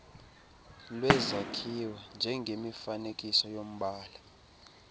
lwezakhiwo njengemifanekiso yombala